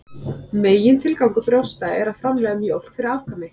Megintilgangur brjósta er að framleiða mjólk fyrir afkvæmi.